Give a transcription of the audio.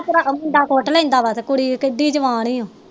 ਭਰਾ ਮੁੰਡਾ ਕੁੱਟ ਲੈਂਦਾ ਵਾ ਤੇ ਕੁੜੀ ਤੇ ਕੁੜੀ ਕਿਡੀ ਜਵਾਨ ਯਾ